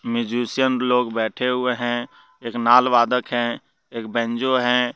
Musician लोग बैठें हुएं हैं एक नाल वादक हैं एक बैंजो हैं।